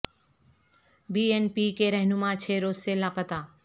be N P کے رہنما چھ روز سے لاپتہ